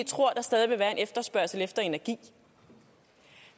tror at der stadig vil være en efterspørgsel efter energi